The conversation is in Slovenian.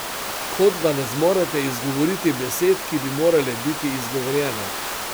Kot da ne zmorete izgovoriti besed, ki bi morale biti izgovorjene.